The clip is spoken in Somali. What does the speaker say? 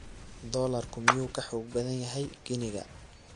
Doolarku miyuu ka xoog badan yahay giniga?